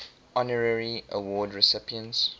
honorary award recipients